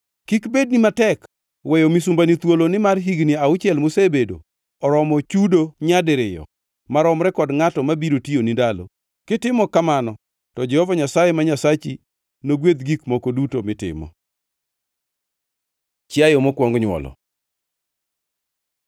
Kik bedni matek weyo misumbani thuolo nimar higni auchiel mosebedo oromo chudo nyadiriyo maromre kod ngʼatno ma biro tiyoni ndalo. Kitimo kamano to Jehova Nyasaye ma Nyasachi nogwedh gik moko duto mitimo. Chiayo mokwong nywolo